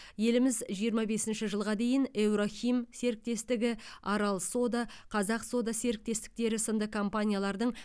еліміз жиырма бесінші жылға дейін еурохим серіктестігі арал сода қазақ сода серіктестіктері сынды компаниялардың